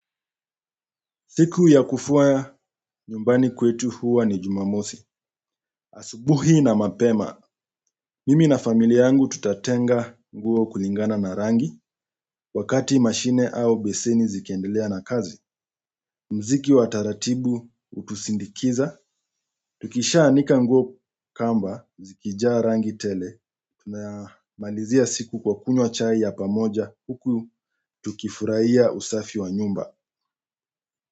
Siku ya kufua nyumbani kwetu huwa ni jumamosi, asubuhi na mapema. Mimi na familia yangu tutatenga nguo kulingana na rangi, wakati mashine au beseni zikiendelea na kazi. Mziki wa taratibu utusindikiza, tukisha anika nguo kamba, zikijaa rangi tele, tunamalizia siku kwa kunywa chai ya pamoja, huku tukifurahia usafi wa nyumba.